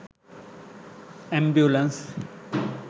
ambulance